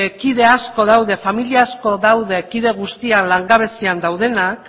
kide asko daude familia asko daude kide guztiak langabezian daudenak